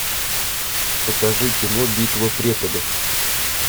покажи кино битва преподов